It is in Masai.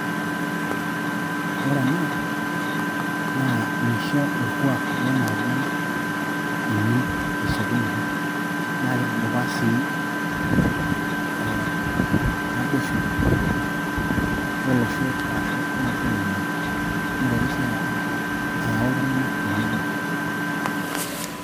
Ore enaa naa meisho orkuak Lena ajiang' eimin tesiokinoto, naa keitudupaa sii ee naboisho olosho aashu olosho lemaa, neitoki sii ayau iltung'anak tenebo.